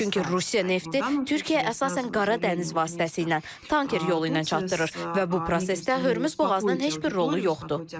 Çünki Rusiya nefti Türkiyəyə əsasən Qara dəniz vasitəsilə tanker yolu ilə çatdırır və bu prosesdə Hörmüz boğazının heç bir rolu yoxdur.